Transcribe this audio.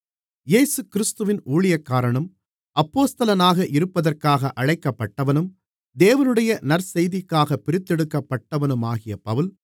இயேசுகிறிஸ்துவின் ஊழியக்காரனும் அப்போஸ்தலனாக இருப்பதற்காக அழைக்கப்பட்டவனும் தேவனுடைய நற்செய்திக்காகப் பிரித்தெடுக்கப்பட்டவனுமாகிய பவுல்